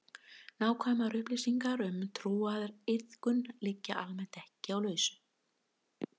Nákvæmar upplýsingar um trúariðkun liggja almennt ekki á lausu.